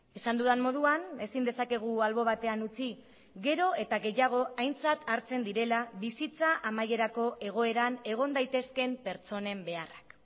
esan dudan moduan ezin dezakegu albo batean utzi gero eta gehiago aintzat hartzen direla bizitza amaierako egoeran egon daitezkeen pertsonen beharrak